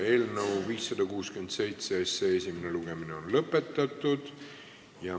Eelnõu 567 esimene lugemine on lõppenud.